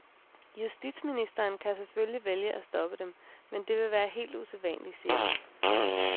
Justitsministeren kan selvfølgelig vælge at stoppe dem, men det vil være helt usædvanligt, siger han.